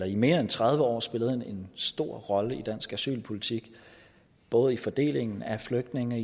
i mere end tredive år spillet en stor rolle i dansk asylpolitik både i fordelingen af flygtninge